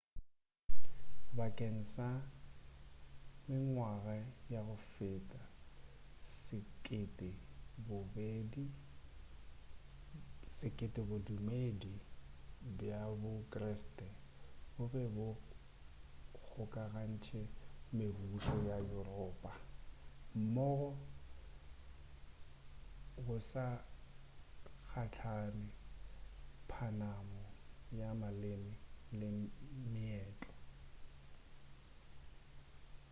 bakeng sa mengwaga ya go feta sekete bodumedi bja bo kreste bo be bo kgokagantše mebušo ya europa mmogo go sa kgathale phapano ya maleme le meetlo i